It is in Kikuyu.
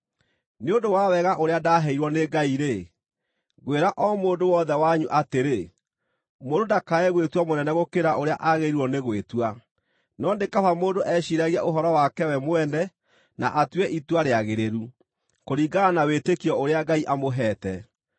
Nĩ ũndũ wa wega ũrĩa ndaaheirwo nĩ Ngai-rĩ, ngwĩra o mũndũ wothe wanyu atĩrĩ: Mũndũ ndakae gwĩtua mũnene gũkĩra ũrĩa aagĩrĩirwo nĩ gwĩtua, no nĩ kaba mũndũ eciiragie ũhoro wake we mwene na atue itua rĩagĩrĩru, kũringana na wĩtĩkio ũrĩa Ngai amũheete.